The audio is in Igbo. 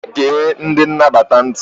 Gee ndị nnabata ntị!